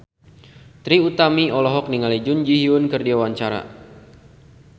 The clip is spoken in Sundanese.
Trie Utami olohok ningali Jun Ji Hyun keur diwawancara